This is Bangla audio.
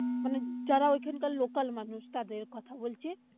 মানে যারা ওখানকার local মানুষ তাদের কথা বলছি।